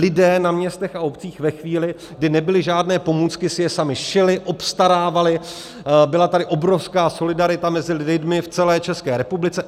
Lidé na městech a obcích ve chvíli, kdy nebyly žádné pomůcky, si je sami šili, obstarávali, byla tady obrovská solidarita mezi lidmi v celé České republice.